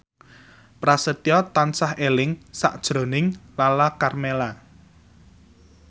Prasetyo tansah eling sakjroning Lala Karmela